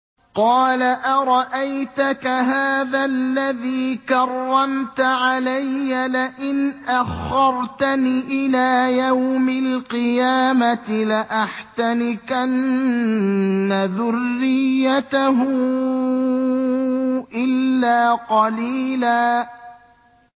قَالَ أَرَأَيْتَكَ هَٰذَا الَّذِي كَرَّمْتَ عَلَيَّ لَئِنْ أَخَّرْتَنِ إِلَىٰ يَوْمِ الْقِيَامَةِ لَأَحْتَنِكَنَّ ذُرِّيَّتَهُ إِلَّا قَلِيلًا